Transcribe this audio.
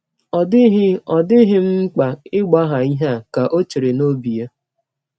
Ọ dịghị, Ọ dịghị m mkpa ịgbagha ihe a, ka ọ chere n’ọbi ya.